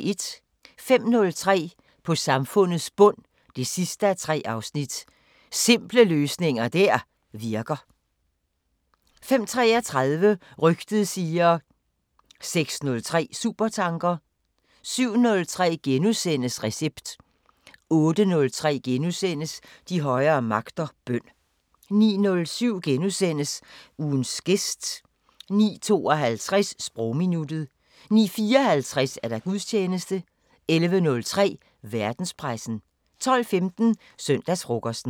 05:03: På samfundets bund 3:3 – Simple løsninger der virker 05:33: Rygtet siger... 06:03: Supertanker 07:03: Recept * 08:03: De højere magter: Bøn * 09:07: Ugens gæst * 09:52: Sprogminuttet 09:54: Gudstjeneste 11:03: Verdenspressen 12:15: Søndagsfrokosten